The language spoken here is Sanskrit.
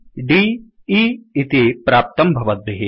cdए इति प्राप्तं भवद्भिः